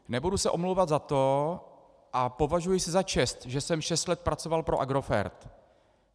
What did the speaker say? Nebudu se omlouvat za to a považuji si za čest, že jsem šest let pracoval pro Agrofert.